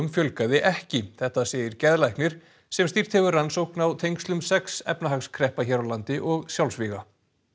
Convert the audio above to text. fjölgaði ekki þetta segir geðlæknir sem stýrt hefur rannsókn á tengslum sex efnahagskreppa hér á landi og sjálfsvíga